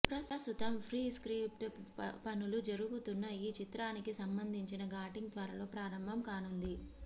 ప్రస్తుతం pre script పనులు జరుగుతున్న ఈ చిత్రానికి సంబంధించిన షూటింగ్ త్వరలో ప్రారంభం కానుంది